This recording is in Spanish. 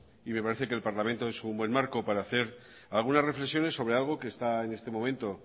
y me parece que el parlamento es un buen marco para hacer algunas reflexiones sobre algo que está en este momento